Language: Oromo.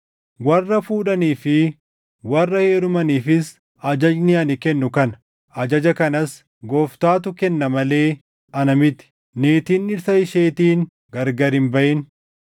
Warra fuudhanii fi warra heerumaniifis ajajni ani kennu kana: Ajaja kanas Gooftaatu kenna malee ana miti; niitiin dhirsa isheetiin gargar hin baʼin.